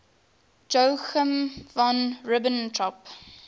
joachim von ribbentrop